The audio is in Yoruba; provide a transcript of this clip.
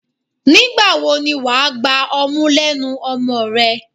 Nígbà wo ni wà á gba ọmú lẹ́nu ọmọ rẹ?